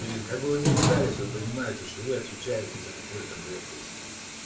какую не ругались вы понимаете что вы отвечаете за какую-то блять здесь